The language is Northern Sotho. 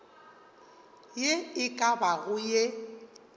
ye e ka bago ye